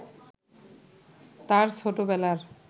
তার ছোটবেলার